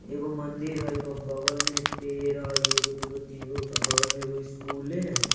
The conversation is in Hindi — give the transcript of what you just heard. एगो मंदिर है एगो बगल में पेड़ है एगो दू गो तीन गो बगल में एगो स्कूलों ने है।